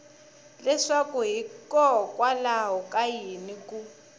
leswaku hikokwalaho ka yini ku